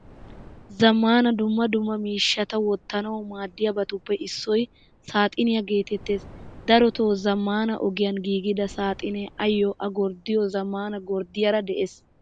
Zamaana dumma dumma miishshata wottanawu maadiyabatuppe issoy saaxiniyaa geetees. Daroto zamaana ogiyan giigida saaxine ayo a gorddiyo zamaana gorddiyaara de'ees.